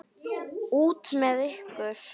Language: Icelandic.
Út með ykkur.